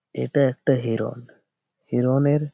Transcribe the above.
ইটা একটা হিরণ। হিরণের--